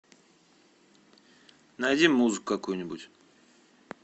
найди музыку какую нибудь